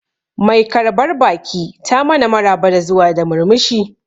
Mai karbar baki ta mana maraba da zuwa da murmushi